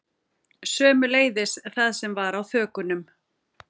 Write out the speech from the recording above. Sömuleiðis það sem var á þökunum